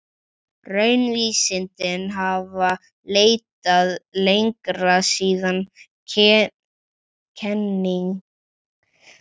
Raunvísindin hafa leitað lengra síðan kenningin um frumeindir hlaut aftur hljómgrunn á nýöld.